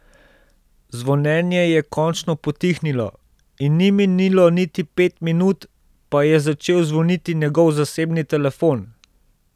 Zvonjenje je končno potihnilo, in ni minilo niti pet minut, pa je začel zvoniti njegov zasebni telefon.